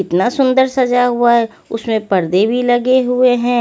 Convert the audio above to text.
इतना सुंदर सजा हुआ है उसमें पर्दे भी लगे हुए हैं।